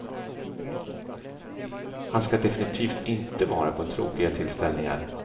Han ska definitivt inte vara på tråkiga tillställningar.